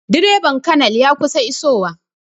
Direban colonel ya kusan iso wa